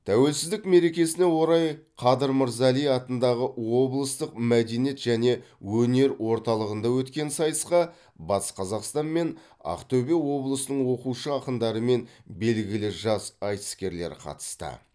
тәуелсіздік мерекесіне орай қадыр мырза әли атындағы облыстық мәдениет және өнер орталығында өткен сайысқа батыс қазақстан мен ақтөбе облысының оқушы ақындары мен белгілі жас айтыскерлер қатысты